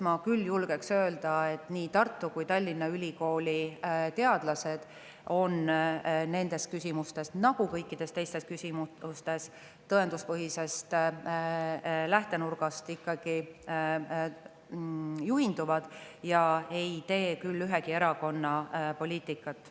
Ma küll julgen öelda, et nii Tartu kui ka Tallinna ülikooli teadlased on nendes küsimustes nagu kõikides teistes küsimustes tõenduspõhisest lähtenurgast ikkagi juhinduvad ega tee küll ühegi erakonna poliitikat.